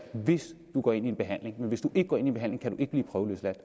hvis du går ind i en behandling hvis du ikke går ind i en behandling kan du ikke blive prøveløsladt